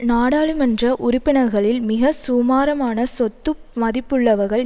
நாடாளுமன்ற உறுப்பினர்களில் மிக சுமாரமான சொத்து மதிப்புள்ளவர்கள்